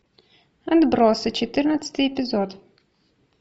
отбросы четырнадцатый эпизод